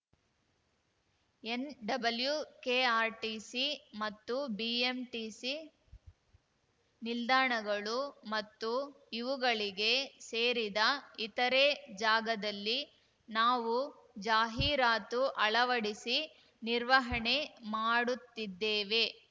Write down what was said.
NWKRTC ಮತ್ತು BMTC ನಿಲ್ದಾಣಗಳು ಮತ್ತು ಇವುಗಳಿಗೆ ಸೇರಿದ ಇತರೆ ಜಾಗದಲ್ಲಿ ನಾವು ಜಾಹಿರಾತು ಅಳವಡಿಸಿ ನಿರ್ವಹಣೆ ಮಾಡುತ್ತಿದ್ದೇವೆ